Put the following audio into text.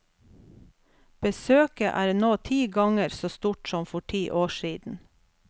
Besøket er nå ti ganger så stort som for ti år siden.